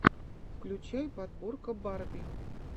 включай подборка барби